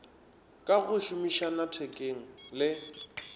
ka go šomišana thekeng le